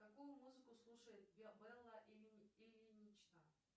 какую музыку слушает белла ильинична